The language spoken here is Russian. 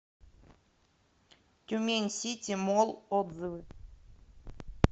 тюмень сити молл отзывы